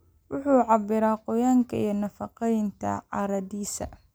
Wuxuu cabbiraa qoyaanka iyo nafaqeynta carradiisa.